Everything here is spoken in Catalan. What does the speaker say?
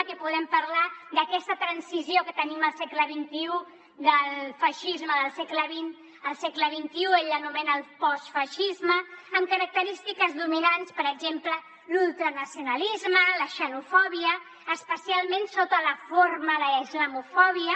aquí podem parlar d’aquesta transició que tenim al segle xxi del feixisme del segle al segle xxi ell l’anomena postfeixisme amb característiques dominants per exemple l’ultranacionalisme la xenofòbia especialment sota la forma de la islamofòbia